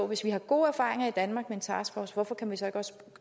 hvis vi har gode erfaringer i danmark med en taskforce hvorfor kan vi så ikke også